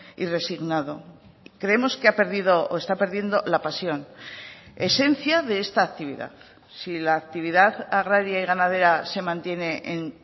y resignado creemos que ha perdido o está perdiendo la pasión esencia de esta actividad si la actividad agraria y ganadera se mantiene en